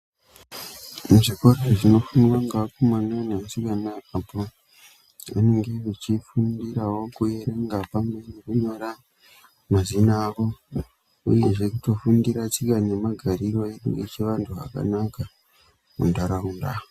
Muzvikora zvinofundwa ngeakomana neasikana apo anenge vechifundirawo kuerenga pamwe nekunyora mazina avo. Uyezve kutofundira tsika namagariro edu echivantu akanaka muntaraunda.